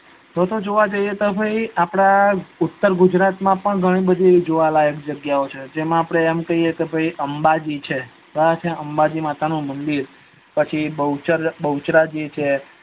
તો તો જોવા જઈએ તો ભાઈ આપડા ઉતર ગુજરાત માં ગણી જોવાલાયક જગ્યાઓ છે જેમાં આપડે કઈએ કે ભાઈ અંબાજી છે અંબાજી માતાનું મદિર પછી બહુચરાજી છે